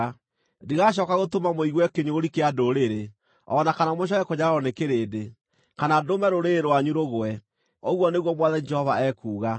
Ndigacooka gũtũma mũigue kĩnyũrũri kĩa ndũrĩrĩ, o na kana mũcooke kũnyararwo nĩ kĩrĩndĩ, kana ndũme rũrĩrĩ rwanyu rũgwe, ũguo nĩguo Mwathani Jehova ekuuga.’ ”